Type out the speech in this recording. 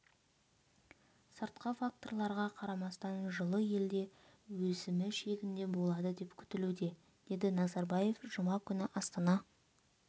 сыртқы факторларға қарамастан жылы елде өсімі шегінде болады деп күтілуде деді назарбаев жұма күні астана